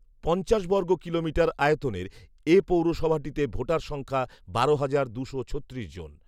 পঞ্চাশ বর্গ কিলোমিটার আয়তনের এ পৌরসভাটিতে ভোটার সংখ্যা বারো হাজার দুশো ছত্রিশ জন